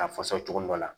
A fasa cogo dɔ la